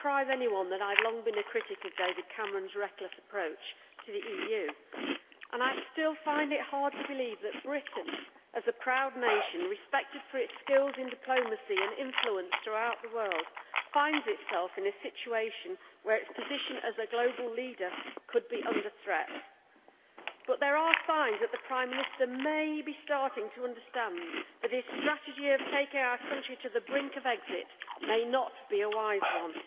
Mr President, it will not surprise anyone that I have long been a critic of David Cameron's reckless approach to the EU. I still find it hard to believe that Britain, as a proud nation respected for its skills in diplomacy and influence throughout the world, finds itself in a situation where its position as a global leader could be under threat. But there are signs that the Prime Minister may be starting to understand that his strategy of taking our country to the brink of exit may not be a wise one.